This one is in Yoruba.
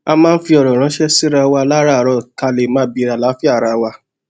a máa ń fi òrò ránṣé síra wa láràárọ ká lè máa bèèrè àlàáfíà ara wa